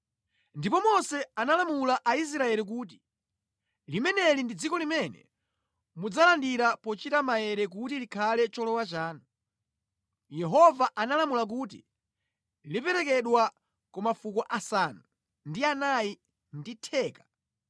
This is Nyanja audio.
Ndipo Mose analamula Aisraeli kuti, “Limeneli ndi dziko limene mudzalilandira pochita maere kuti likhale cholowa chanu. Yehova analamula kuti liperekedwe ku mafuko asanu ndi anayi ndi theka,